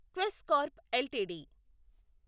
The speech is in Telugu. Quess Corp LTD